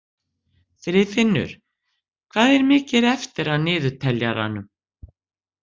Friðfinnur, hvað er mikið eftir af niðurteljaranum?